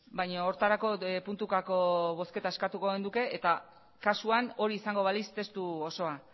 baina horretarako puntukako bozketa eskatuko genuke eta kasuan hori izango balitz testu osoa